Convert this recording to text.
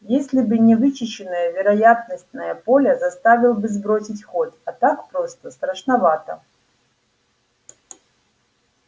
если бы не вычищенное вероятностное поле заставил бы сбросить ход а так просто страшновато